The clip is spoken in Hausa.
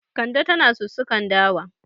Kande tana sussukan dawa.